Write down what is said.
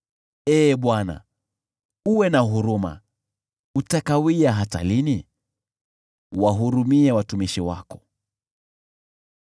Ee Bwana , uwe na huruma! Utakawia hata lini? Wahurumie watumishi wako.